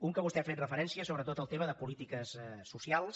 un a què vostè ha fet referència sobre tot el tema de polítiques socials